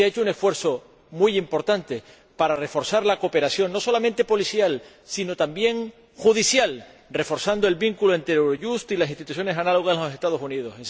Se ha hecho un esfuerzo muy importante para reforzar la cooperación, no solamente policial, sino también judicial, reforzando el vínculo entre Eurojust y las instituciones análogas en los Estados Unidos.